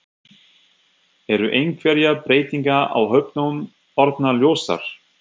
Eru einhverjar breytingar á hópnum orðnar ljósar?